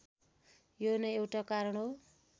यो नै एउटा कारण हो